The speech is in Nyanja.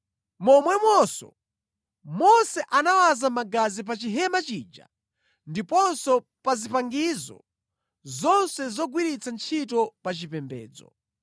Momwemonso Mose anawaza magazi pa Chihema chija ndiponso pa zipangizo zonse zogwiritsa ntchito pa chipembedzo.